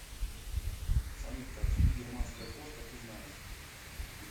салют какие бирманская кошка ты знаешь